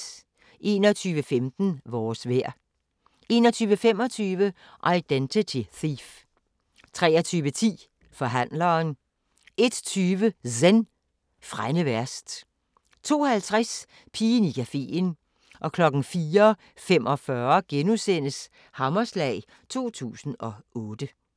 21:15: Vores vejr 21:25: Identity Thief 23:10: Forhandleren 01:20: Zen: Frænde værst 02:50: Pigen i cafeen 04:45: Hammerslag 2008 *